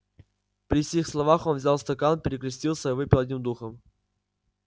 при сих словах он взял стакан перекрестился и выпил одним духом